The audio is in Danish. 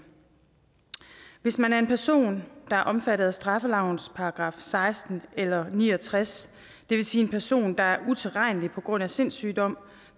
hvis man er en person der er omfattet af straffelovens § seksten eller ni og tres det vil sige en person der er utilregnelig på grund af sindssygdom